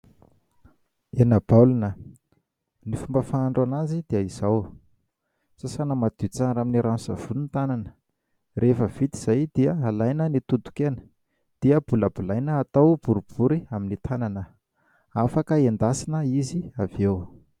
Hena baolina, ny fomba fahandro anazy dia izao : sasana madio tsara amin'ny rano sy savony ny tanana, rehefa vita izay dia alaina ny toton-kena dia bolabolaina atao boribory amin'ny tanana, afaka hendasina izy avieo.